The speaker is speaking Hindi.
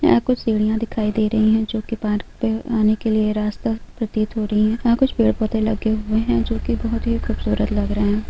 यहाँ कुछ सीढ़िया दिखाई दे रही हैं जो की पार्क पे आने के लिए रास्ता प्रतीत हो रही हैं यहाँ कुछ पेड़ पौधे लगे हुए हैं जो की बहुत खूबसूरत लग रहे हैं।